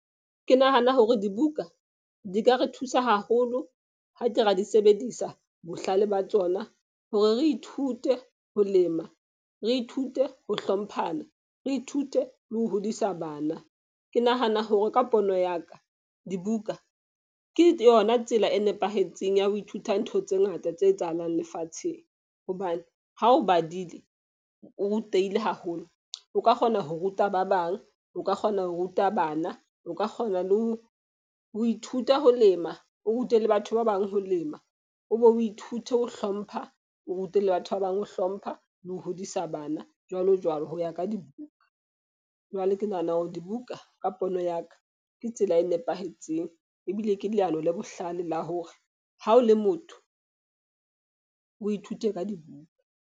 Ke nahana hore dibuka di ka re thusa haholo ha ke ra di sebedisa bohlale ba tsona, hore re ithute ho lema, re ithute ho hlomphana, re ithute le ho hodisa bana. Ke nahana hore ka pono ya ka dibuka ke yona tsela e nepahetseng ya ho ithuta ntho tse ngata tse etsahalang lefatsheng. Hobane ha o badile, o rutehile haholo, o ka kgona ho ruta ba bang. O ka kgona ho ruta bana, o ka kgona le ho ithuta ho lema, o rute le batho ba bang, ho lema, o be o ithute ho hlompha, o rute le batho ba bang, ho hlompha le ho hodisa bana, jwalo jwalo ho ya ka dibuka. Jwale ke nahana hore dibuka ka pono ya ka ke tsela e nepahetseng. Ebile ke leano le bohlale la hore ha o le motho o ithute ka dibuka.